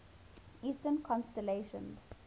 eastern constellations